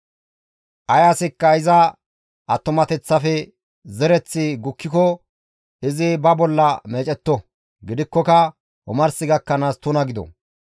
«Ay asikka iza attumateththafe zereththi gukkiko izi ba bolla meecetto; gidikkoka omars gakkanaas tuna gido.